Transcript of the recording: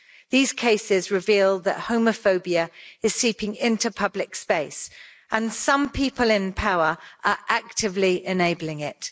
These cases reveal that homophobia is seeping into public space and some people in power are actively enabling it.